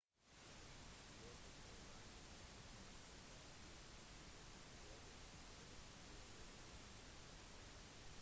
i løpet av reisen sin kom iwasaki i trøbbel ved flere begivenheter